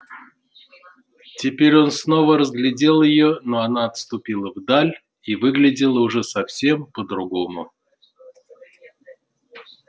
теперь он снова разглядел её но она отступила вдаль и выглядела уже совсем по другому